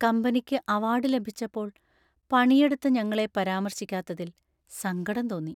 കമ്പനിക്ക് അവാർഡ് ലഭിച്ചപ്പോൾ പണിയെടുത്ത ഞങ്ങളെ പരാമർശിക്കാത്തതിൽ സങ്കടം തോന്നി.